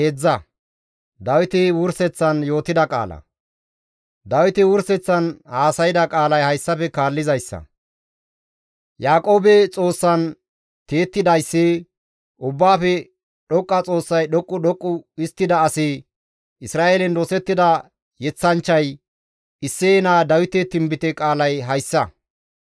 Dawiti wurseththan haasayda qaalay hayssafe kaallizayssa; «Yaaqoobe Xoossaan tiyettidayssi, Ubbaafe Dhoqqa Xoossay dhoqqu dhoqqu histtida asi, Isra7eelen dosettida yeththanchchay, Isseye naa Dawite tinbite qaalay hayssa;